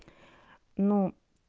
ну